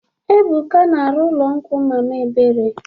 Ebuka na-arụ ụlọ nkwụ mama ebere.